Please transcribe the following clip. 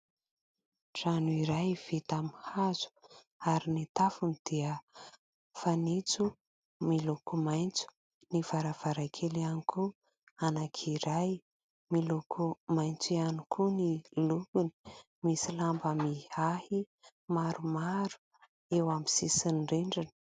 Trano iray vita amin'ny hazo, ary ny tafony dia fanitso miloko maitso. Ny varavarankely ihany koa anankiray, miloko maitso ihany koa ny lokony. Misy lamba mihahy maromaro eo amin'ny sisin'ny rindrina.